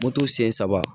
Moto sen saba